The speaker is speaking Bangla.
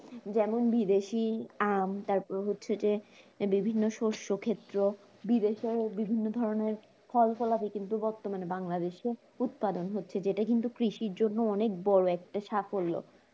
যেমন বিদেশি আম তারপর হচ্ছে যে আহ বিভিন্ন শস্য ক্ষেত্র বিদেশে বিভিন্ন ধরনের ফলা-ফলালী কিন্তু বর্তমানে বাংলাদেশে উৎপাদন হচ্ছে যেটা কিন্তু কৃষির জন্য খুব বড় একটা সাফল্য